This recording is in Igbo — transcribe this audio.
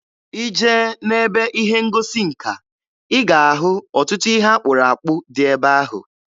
Ị jee n'ebe ihe ngosi nka, ị ga-ahụ ọtụtụ ihe akpụrụ akpụ dị ebe ahụ.